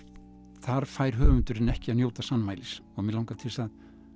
þar fær höfundurinn ekki að njóta sannmælis og mig langar til þess að